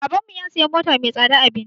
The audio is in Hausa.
Baban mu ya siya mota mai tsada a birni